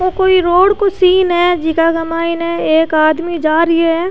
ओ कोई रोड को सीन है जीका की माइन एक आदमी जा रिया है।